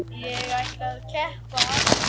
Elsku fallega Birna amma mín.